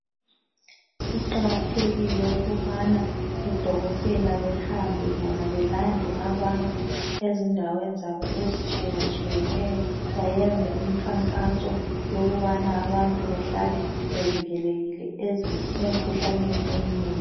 Kuqakathekile ukubana odokotela behambe bona belande abantu ezindaweni zabo ezitshiyatshiyeneyo bayenze imkhankaso yokubana abantu behlale bevikelekile emkhuhlaneni eminengi.